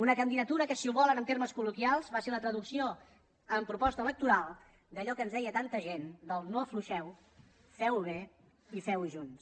una candidatura que si ho volen en termes colloquials va ser la traducció en proposta electoral d’allò que ens deia tanta gent del no afluixeu feuho bé i feuho junts